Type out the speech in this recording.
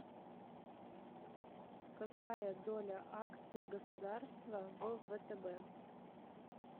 какая доля акций государства в втб